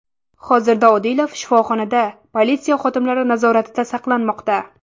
Hozirda Odilov shifoxonada politsiya xodimlari nazoratida saqlanmoqda.